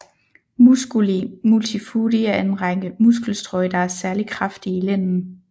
Musculi multifudi er en række muskelstrøj der er særligt kraftige i lænden